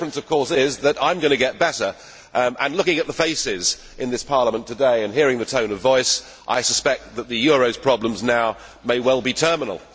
The difference of course is that I am going to get better and looking at the faces in this Parliament today and hearing the tone of voice, I suspect that the euro's problems now may well be terminal!